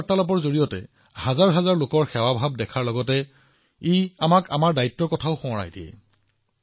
এই বিষয়বোৰে কেৱল হাজাৰ হাজাৰ লোকৰ সেৱা প্ৰদৰ্শন কৰাই নহয় অদ্যপি আমাৰ সকলোৰে দায়িত্ববোধো আছে